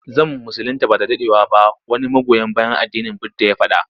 Zan musulinta ba da daɗewa ba wani magoya bayan addinin budda ya faɗa.